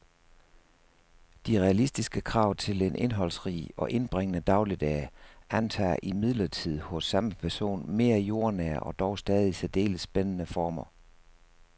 De realistiske krav til en indholdsrig og indbringende dagligdag antager imidlertid hos samme person mere jordnære og dog stadig særdeles spændende former.